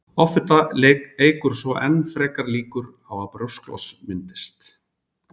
Offita eykur svo enn frekar líkurnar á að brjósklos myndist.